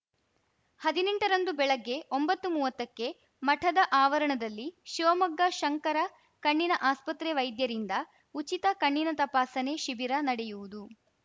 ಹದಿನೆಂಟರಂದು ಬೆಳಗ್ಗೆ ಒಂಬತ್ತುಮುವತ್ತಕ್ಕೆ ಮಠದ ಆವರಣದಲ್ಲಿ ಶಿವಮೊಗ್ಗ ಶಂಕರ ಕಣ್ಣಿನ ಆಸ್ಪತ್ರೆ ವೈದ್ಯರಿಂದ ಉಚಿತ ಕಣ್ಣಿನ ತಪಾಸಣೆ ಶಿಬಿರ ನಡೆಯುವುದು